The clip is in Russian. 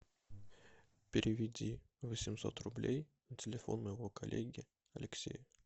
переведи восемьсот рублей на телефон моего коллеги алексея